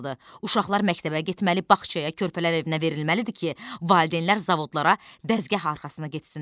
Uşaqlar məktəbə getməli, bağçaya, körpələr evinə verilməlidir ki, valideynlər zavodlara, dəzgah arxasına getsinlər.